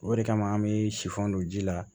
O de kama an be sifan don ji la